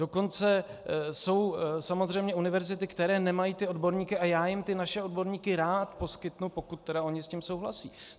Dokonce jsou samozřejmě univerzity, které nemají ty odborníky, a já jim ty naše odborníky rád poskytnu, pokud tedy oni s tím souhlasí.